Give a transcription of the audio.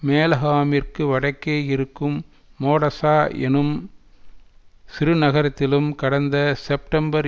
மேலகாம்மிற்கு வடக்கே இருக்கும் மோடசா என்னும் சிறுநகரத்திலும் கடந்த செப்டம்பர்